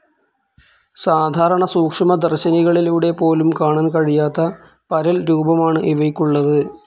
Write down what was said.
സാധാരണ സൂക്ഷ്മദർശിനികളിലൂടെ പോലും കാണാൻ കഴിയാത്ത പരൽരൂപമാണ് ഇവയ്ക്കുള്ളത്.